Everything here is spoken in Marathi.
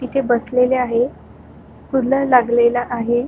इथे बसलेले आहे फूल लागलेला आहे.